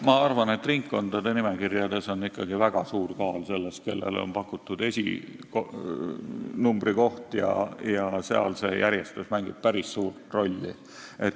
Ma arvan, et ringkondade nimekirjades on ikkagi väga suur kaal sellel, kellele on pakutud esinumbri koht, ja järjestus mängib seal päris suurt rolli.